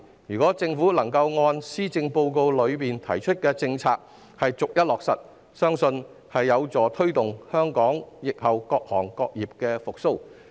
如果政府能把施政報告提出的政策逐一落實，相信有助推動香港疫後各行各業的復蘇。